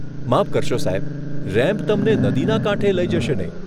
માફ કરશો, સાહેબ. રેમ્પ તમને નદીના કાંઠે લઈ જશે નહીં.